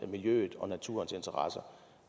miljøets og naturens interesser